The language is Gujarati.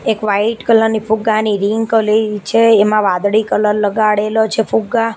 એક વાઈટ કલર ની ફુગ્ગાની રિંગ કલી છે એમા વાદળી કલર લગાડેલો છે ફુગ્ગા--